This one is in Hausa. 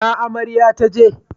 Ina amarya taje?